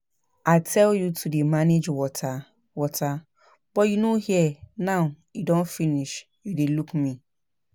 I tell you to dey manage water water but you no hear now e don finish you dey look me